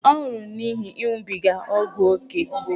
Ọ nwụrụ n’ihi ịṅụbiga ógwù ókè.